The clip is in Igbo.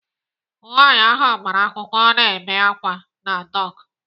Nwaanyi ahụ agbara akwụkwọ na-ebe àkwá na dọk.